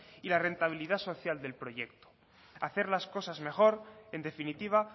y la rentabilidad social del proyecto hacer las cosas mejor en definitiva